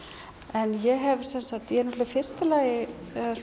en ég hef sem sagt ég náttúrulega í fyrsta lagi